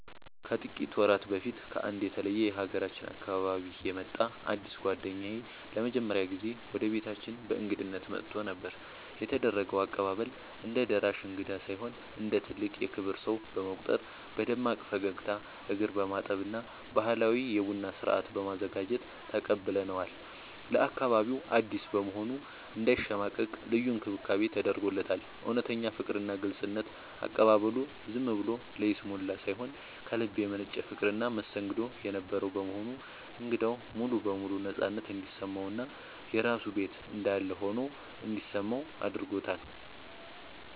ከጥቂት ወራት በፊት ከአንድ የተለየ የሀገራችን አካባቢ የመጣ አዲስ ጓደኛዬ ለመጀመሪያ ጊዜ ወደ ቤታችን በእንግድነት መጥቶ ነበር። የተደረገው አቀባበል፦ እንደ ደራሽ እንግዳ ሳይሆን እንደ ትልቅ የክብር ሰው በመቁጠር በደማቅ ፈገግታ፣ እግር በማጠብ እና ባህላዊ የቡና ስነ-ስርዓት በማዘጋጀት ተቀብለነዋል። ለአካባቢው አዲስ በመሆኑ እንዳይሸማቀቅ ልዩ እንክብካቤ ተደርጎለታል። እውነተኛ ፍቅርና ግልጽነት፦ አቀባበሉ ዝም ብሎ ለይስሙላ ሳይሆን ከልብ የመነጨ ፍቅርና መስተንግዶ የነበረው በመሆኑ እንግዳው ሙሉ በሙሉ ነፃነት እንዲሰማውና የራሱ ቤት እንዳለ ሆኖ እንዲሰማው አድርጎታል።